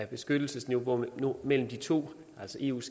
beskyttelsesniveauet mellem de to altså eus